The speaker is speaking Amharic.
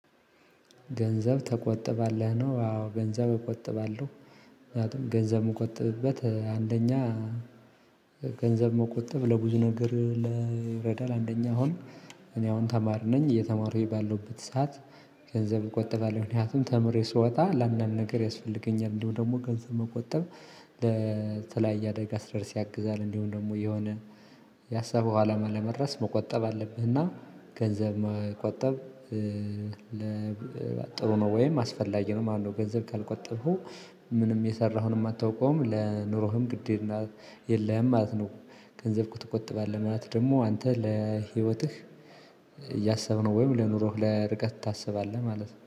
ገንዘብ ተቆጥባለህ ነው አዎ ገንዘብ እቆጥባለሁ። ምክንያቱም ገንዘብ የምቆጠብበት አንደኛ- ገንዘብ መቆጠብ ለብዙ ነገር ይረዳል። አንደኛ አሁን እኔ አሁን ተማሪ ነኝ እየተማርኩ ባለሁበት ሰዓት- ገንዘብ እቆጥባለሁ። ምክንያቱም ተምሬ ስወጣ ላንዳንድ ነገር ያስፈልገኛል። እንደውም ደግሞ ገንዘብ መቆጠብ ለተለያየ አደጋ ሲደርስ ያግዛል። እንዲሁም ደግሞ የሆነ ያሰበው አለማ ለመድረስ መቆጠብ አለብህና ገንዘብ መቆጠብ- ጥሩ ነው ወይም አስፈላጊ ነው ማለት ነው። ገንዘብ ካልቆጠብከው ምንም የሰራሐዉንም አታውቀውም ለኑሮህም ግድና- የለህም ማለት ነው። ገንዘብክን ትቆጥባለህ ማለት ነው ደግሞ አንተ ለህይወትህ እያሰብክ ነው ወይም ለኑሮህ ለርቀት ታስባለህ ማለት ነው።